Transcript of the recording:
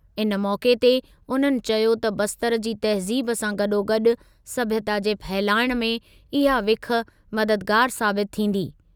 इन मौक़े ते उन्हनि चयो त बस्तर जी तहज़ीब सां गॾोगॾु सभ्यता खे फहिलाइण में इहा विख़ मददगारु साबितु थींदी।